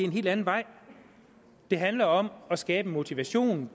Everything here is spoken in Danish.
en helt anden vej det handler om at skabe motivation